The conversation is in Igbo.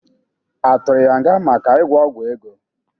Atụrụ ya nga maka ịgwọ ọgwọ ego?